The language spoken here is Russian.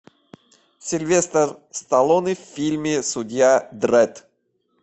сильвестр сталлоне в фильме судья дредд